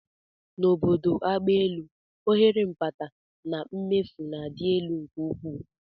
N'obodo agbaelu, ohere mkpata na mmefu na-adị elu nke ukwuu